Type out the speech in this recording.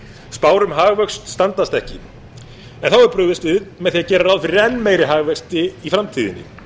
spár um hagvöxt standast ekki en þá er brugðist við með því að gera ráð fyrir enn meiri hagvexti í framtíðinni